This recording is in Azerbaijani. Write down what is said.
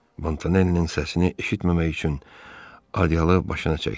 Montanellinin səsini eşitməmək üçün Aliyalı başına çəkdi.